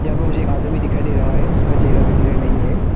और मुझे एक आदमी दिखाइ दे रहा है जिसका चेहरा भी क्लियर नहीं है।